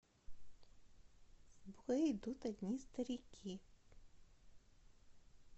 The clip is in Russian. в бой идут одни старики